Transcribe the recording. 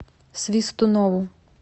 свистунову